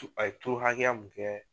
A ye turu hakɛya mun kɛ.